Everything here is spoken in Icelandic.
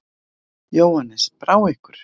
Jóhannes: Brá ykkur?